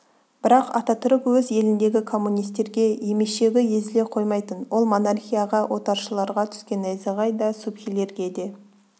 бірақ ататүрік өз еліндегі коммунистерге емешегі езіле қоймайтын ол монархияға отаршыларға түскен найзағай да субхилерге де